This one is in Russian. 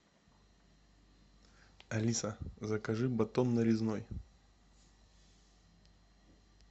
алиса закажи батон нарезной